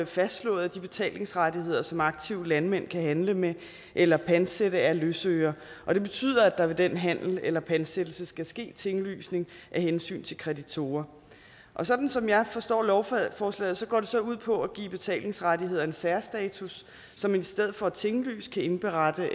fastslået de betalingsrettigheder som aktive landmænd kan handle med eller pantsætte af løsøre og det betyder at der ved den handel eller pansættelse skal ske tinglysning af hensyn til kreditorer sådan som jeg forstår lovforslaget går det så ud på at give betalingsrettigheder en særstatus så man i stedet for at tinglyse kan indberette